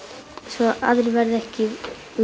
svo aðrir verði ekki